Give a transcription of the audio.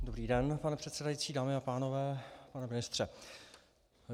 Dobrý den, pane předsedající, dámy a pánové, pane ministře.